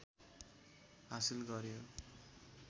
हासिल गऱ्यो